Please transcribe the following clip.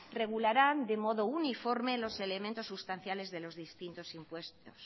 regularán de modo uniforme los elementos sustanciales de los distintos impuestos